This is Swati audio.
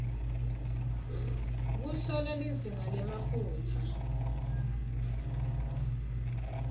kuhlola lizinga lemafutsa